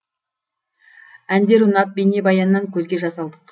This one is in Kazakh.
әндер ұнап бейнебаяннан көзге жас алдық